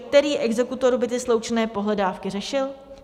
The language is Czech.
Který exekutor by ty sloučené pohledávky řešil?